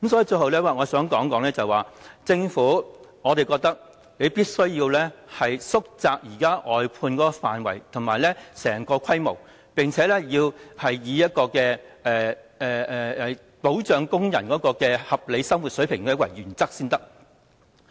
最後，我想指出，我認為政府必須縮窄現時的外判範圍和規模，並且以保障工人的合理生活水平為原則。